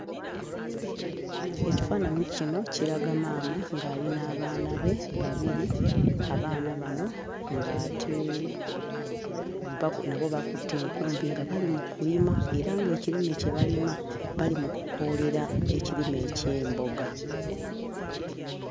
Ekifaananyi kino kiraga maama ng'ali n'abaana be babiri. Abaana bano ng'ate nabo bakutte enkumbi nga bali mu kulima era ng'ekirime kye balima bali mu kukoolera ekirime eky'emboga.